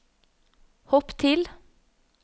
hopp til